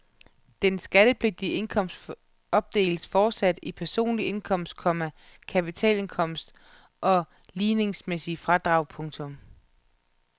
Den skattepligtige indkomst opdeles fortsat i personlig indkomst, komma kapitalindkomst og ligningsmæssige fradrag. punktum